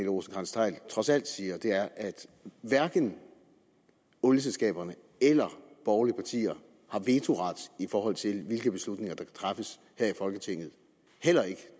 rosenkrantz theil trods alt siger er at hverken olieselskaberne eller borgerlige partier har vetoret i forhold til hvilke beslutninger der kan træffes her i folketinget heller ikke